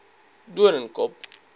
doornkop